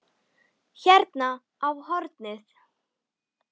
Hérna á hornið.